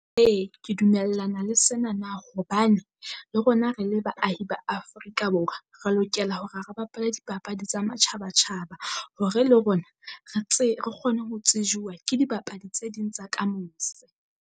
Ee ke dumellana le senana hobane le rona re le baahi ba Afrika Borwa. Re lokela hore ha re bapala dipapadi tsa matjhaba-tjhaba hore le rona re tse re kgone ho tsejuwa ke dibapadi tse ding tsa ka mose.